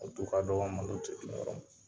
U du ka dɔgɔ malo ti dun yɔrɔ min.